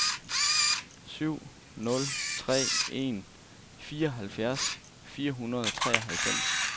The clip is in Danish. syv nul tre en fireoghalvfjerds fire hundrede og treoghalvfems